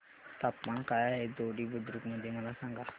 तापमान काय आहे दोडी बुद्रुक मध्ये मला सांगा